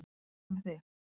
En hvað með þig.